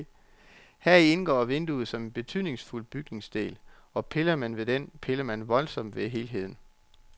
Heri indgår vinduet som en betydningsfuld bygningsdel, og piller man ved den, piller man voldsomt ved helheden.